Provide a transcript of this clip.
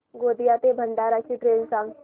गोंदिया ते भंडारा ची ट्रेन सांग